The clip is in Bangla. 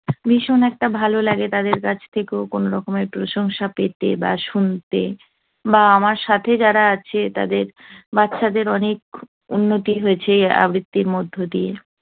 ভীষণ একটা ভালো লাগে তাদের কাছ থেকেও কোন রকমের প্রশংসা পেতে বা শুনতে। বা আমার সাথে যারা আছে, তাদের বাচ্চাদের অনেক উন্নতি হয়েছে আবৃত্তির মধ্য দিয়ে